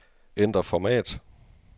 Ændr format.